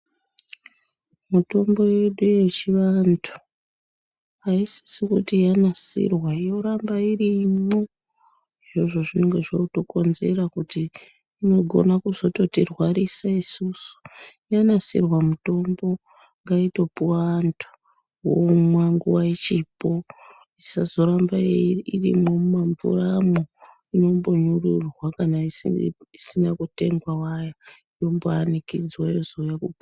Mutombo yedu yechivantu haisisi kuti yanasirwa yoramba irimwo. Izvozvo zvinenge zvotokonzera kuti inogona kuzototirwarisa isusu. Yanasirwa mitombo ngaitopiwa vantu, vomwa nguva ichipo, isazoramba irimwo mumamvuramwo. Inombonyururwa kana isina kutengwa wayo yombanikidzwe yozouya.